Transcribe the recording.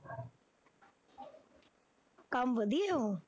ਕੰਮ ਵਧੀਆ ਉਹ